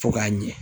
Fo k'a ɲɛ